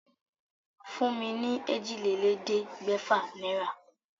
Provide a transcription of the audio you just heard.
Fún mi ní èjìlélẹ́ẹ̀ẹ́dẹ́gbẹ́fà naira.